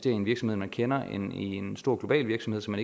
i en virksomhed man kender end i en stor global virksomhed som